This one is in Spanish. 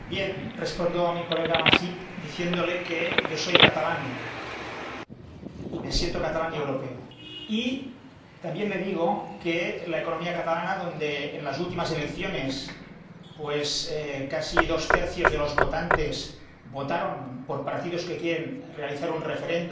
Respondo al señor Masip diciéndole que yo soy catalán y me siento catalán y europeo. También le digo que Cataluña —donde en las últimas elecciones casi dos tercios de los votantes votaron por partidos que quieren realizar un referéndum